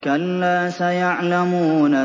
كَلَّا سَيَعْلَمُونَ